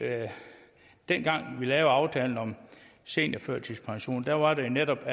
dengang vi lavede aftalen om seniorførtidspension der var det jo netop